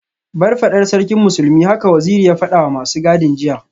Bar fadar Sarkin Musulmi haka Waziri ya fadawa masu gadin jiya